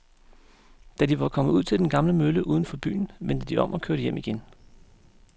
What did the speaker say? Da de var kommet ud til den gamle mølle uden for byen, vendte de om og kørte hjem igen.